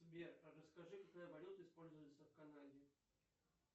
сбер расскажи какая валюта используется в канаде